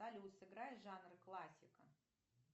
салют сыграй жанр классика